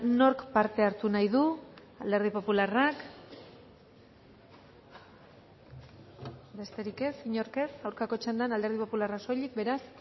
nork parte hartu nahi du alderdi popularrak besterik ez inork ez aurkako txandan alderdi popularra soilik beraz